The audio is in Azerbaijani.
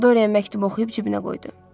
Dorian məktubu oxuyub cibinə qoydu.